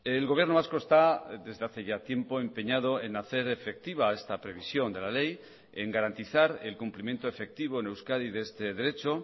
el gobierno vasco está desde hace ya tiempo empeñado en hacer efectiva esta previsión de la ley en garantizar el cumplimiento efectivo en euskadi de este derecho